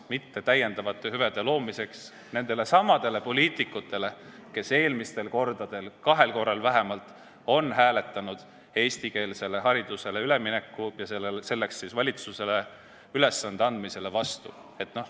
Mitte lisahüvede loomiseks nendelesamadele poliitikutele, kes eelmistel kordadel – kahel korral vähemalt – on hääletanud eestikeelsele haridusele ülemineku ja valitsusele ülesande andmisele vastu.